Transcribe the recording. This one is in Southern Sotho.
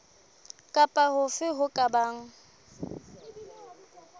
kapa hofe ho ka bang